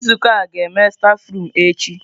Nzukọ a ga-eme stafurum echi.